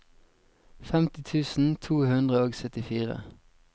femti tusen to hundre og syttifire